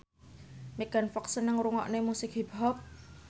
Megan Fox seneng ngrungokne musik hip hop